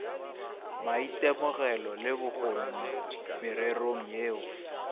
maitemogelo le bokgoni mererong yeo